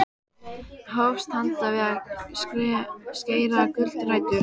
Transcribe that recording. Hófst handa við að skera gulrætur og kúrbít í naglasúpuna.